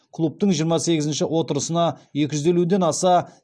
клубтың жиырма сегізінші отырысына екі жүз елуден аса